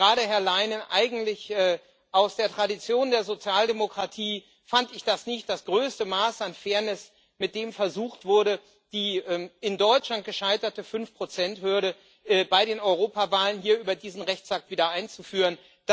Und gerade, Herr Leinen, eigentlich aus der Tradition der Sozialdemokratie, fand ich das nicht das größte Maß an Fairness, mit dem versucht wurde, die in Deutschland gescheiterte Fünf Prozent Hürde bei den Europawahlen hier über diesen Rechtsakt wieder einzuführen.